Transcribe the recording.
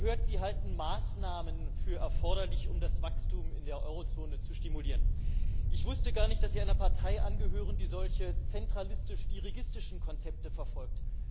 Ich habe gehört, Sie halten Maßnahmen für erforderlich, um das Wachstum in der Eurozone zu stimulieren. Ich wusste gar nicht, dass Sie einer Partei angehören, die solche zentralistisch dirigistischen Konzepte verfolgt.